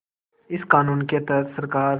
इस क़ानून के तहत सरकार